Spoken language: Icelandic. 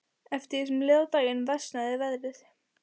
Eftir því sem leið á daginn versnaði veðrið.